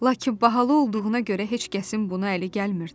Lakin bahalı olduğuna görə heç kəsin bunu əli gəlmirdi.